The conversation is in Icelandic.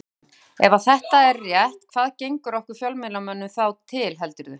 Sólveig Bergmann: Ef að þetta er rétt hvað gengur okkur fjölmiðlamönnum þá til heldurðu?